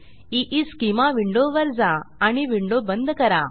ईस्केमा विंडोवर जा आणि विंडो बंद करा